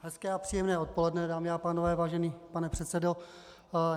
Hezké a příjemné odpoledne, dámy a pánové, vážený pane předsedo.